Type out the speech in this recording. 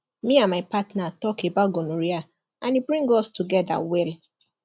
me and my partner talk about gonorrhea and e bring us together well